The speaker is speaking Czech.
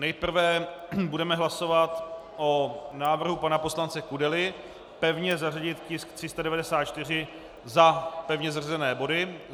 Nejprve budeme hlasovat o návrhu pana poslance Kudely pevně zařadit tisk 394 za pevně zařazené body.